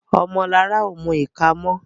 Omo Lara o mú ika mọ.